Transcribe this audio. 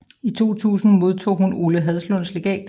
I 2000 modtog hun Ole Haslunds Legat